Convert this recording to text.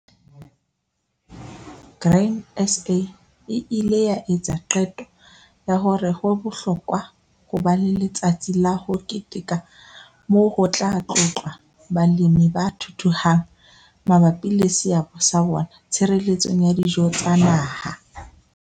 Grain SA e ile ya etsa qeto ya hore ho bohlokwa ho ba le letsatsi la ho keteka moo ho tla tlotlwa balemi ba thuthuhang mabapi le seabo sa bona tshireletsong ya dijo tsa naha.